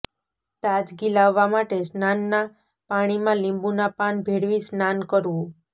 તાજગી લાવવા માટે સ્નાનના પાણીમાં લીંબુના પાન ભેળવી સ્નાન કરવું